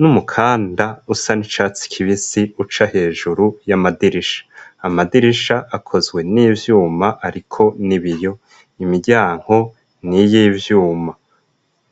n'umukanda usa n'icatsi kibisi uca hejuru y'amadirisha, amadirisha akozwe n'ivyuma ariko n'ibiyo imiryango niyivyuma.